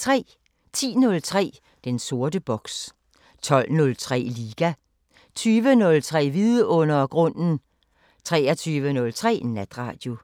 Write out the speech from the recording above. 10:03: Den sorte boks 12:03: Liga 20:03: Vidundergrunden 23:03: Natradio